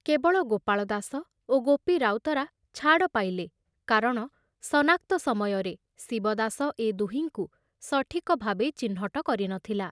କେବଳ ଗୋପାଳ ଦାସ ଓ ଗୋପି ରାଉତରା ଛାଡ଼ ପାଇଲେ କାରଣ ସନାକ୍ତ ସମୟରେ ଶିବଦାସ ଏ ଦୁହିଙ୍କୁ ସଠିକଭାବେ ଚିହ୍ନଟ କରି ନ ଥିଲା।